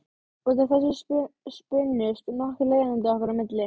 Út af þessu spunnust nokkur leiðindi okkar á milli.